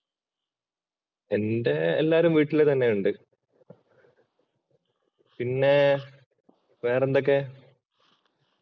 എന്‍റെ എല്ലാരും വീട്ടിൽ തന്നെയുണ്ട്. പിന്നെ വേറെ എന്തൊക്കെ?